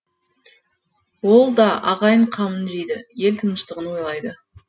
ол да ағайын қамын жейді ел тыныштығын ойлайды